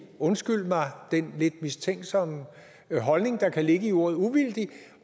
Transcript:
undskyld mig den lidt mistænksomme holdning der kan ligge i ordet uvildig